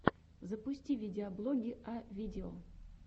запусти видеоблоги а видео